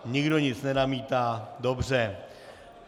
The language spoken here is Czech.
Nikdo nic nenamítá, dobře.